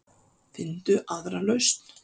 Finndu aðra lausn.